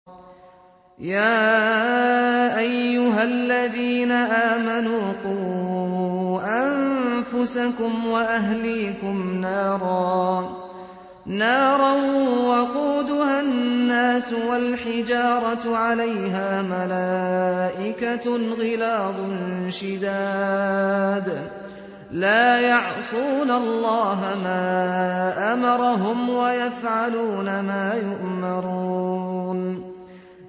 يَا أَيُّهَا الَّذِينَ آمَنُوا قُوا أَنفُسَكُمْ وَأَهْلِيكُمْ نَارًا وَقُودُهَا النَّاسُ وَالْحِجَارَةُ عَلَيْهَا مَلَائِكَةٌ غِلَاظٌ شِدَادٌ لَّا يَعْصُونَ اللَّهَ مَا أَمَرَهُمْ وَيَفْعَلُونَ مَا يُؤْمَرُونَ